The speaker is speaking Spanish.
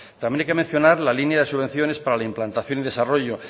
también hay que mencionar la línea de subvenciones para la implantación y desarrollo